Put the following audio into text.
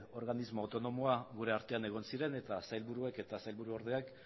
organismo autonomoa gure artean egon ziren eta sailburuek eta sailburuordeak